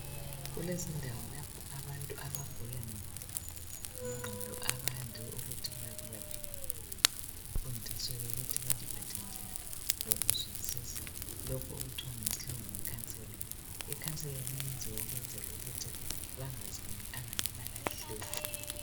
Kulrezindawo lapho abantu abagula ngengqondo abande ukuthi baphiwe khona imfundiso yokuthi baziphathe njani likuzwisisa. Lokhu ngesilungu okuthiwa yikhanselingi, ikhanseling iyenziwa ukwenzela ukuthi bangaziboni ingani balahlekile.